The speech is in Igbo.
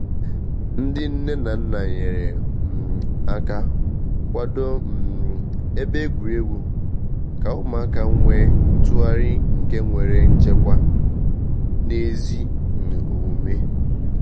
Ndị nne na nna nyere um aka kwado um ebe egwuregwu ka ụmụaka nwee ntụgharị nke nwere nchekwa na ezi um omume